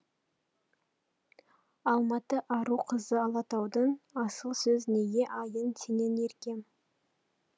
алматы ару қызы алатаудың асыл сөз неге аяйын сенен еркем